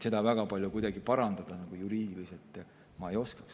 Seda ma kuidagi juriidiliselt väga palju parandada ei oskaks.